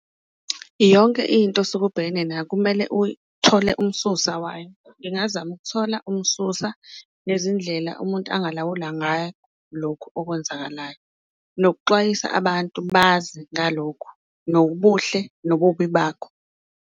Yonke into osuke ubhekene nayo kumele uthole umsusa wayo, ngingazama ukuthola umsusa nezindlela umuntu angalawula ngayo lokhu okwenzakalayo nokuxwayisa abantu bazi ngalokhu, nobuhle nobubi bakho.